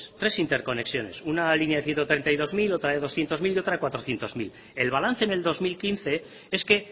tres interconexiones una línea de ciento treinta y dos mil otra de doscientos mil y otra de cuatrocientos mil el balance en el dos mil quince es que